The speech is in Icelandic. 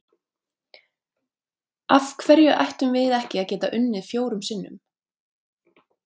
Af hverju ættum við ekki að geta unnið fjórum sinnum?